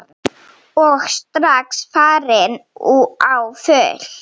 Og strax farin á fullt.